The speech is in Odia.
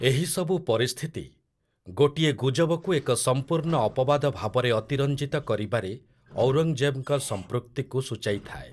ଏହିସବୁ ପରିସ୍ଥିତି, ଗୋଟିଏ ଗୁଜବକୁ ଏକ ସମ୍ପୂର୍ଣ୍ଣ ଅପବାଦ ଭାବରେ ଅତିରଞ୍ଜିତ କରିବାରେ ଔରଙ୍ଗ୍‌ଜେବ୍‌ଙ୍କ ସମ୍ପୃକ୍ତିକୁ ସୂଚାଇଥାଏ ।